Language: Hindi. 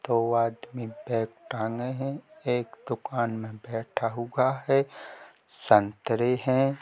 दो आदमी बैग टांगे है एक दुंकान मे बैठा हुआ है सन्तरे है।